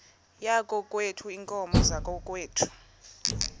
yakokwethu iinkomo zakokwethu